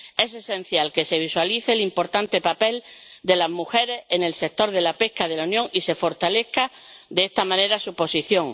Es esencial que se visualice el importante papel de las mujeres en el sector de la pesca de la Unión y se fortalezca de esta manera su posición.